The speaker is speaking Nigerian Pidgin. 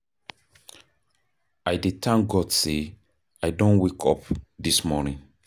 I dey thank God sey I don wake up dis morning.